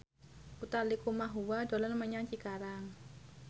Utha Likumahua dolan menyang Cikarang